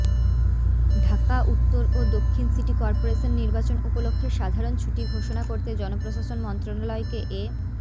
ঢাকা উত্তর ও দক্ষিণ সিটি কর্পোরেশন নির্বাচন উপলক্ষে সাধারণ ছুটি ঘোষণা করতে জনপ্রশাসন মন্ত্রণালয়কে এ